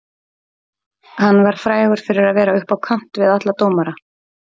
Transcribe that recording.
Hann var frægur fyrir að vera upp á kant við alla dómara.